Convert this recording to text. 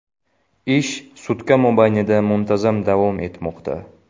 Ish sutka mobaynida muntazam davom etmoqda.